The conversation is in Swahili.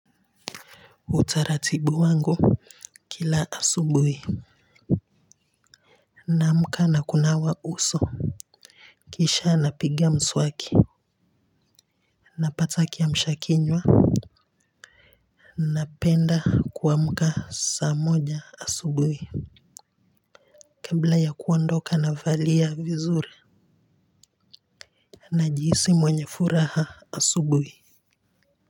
Utaratibu wangu kila asubuhi naamka na kunawa uso, kisha napiga mswaki napata kiamsha kinywa, napenda kuamka saa moja asubuhi kabla ya kuondoka navalia vizuri najihisi mwenye furaha asubuhi.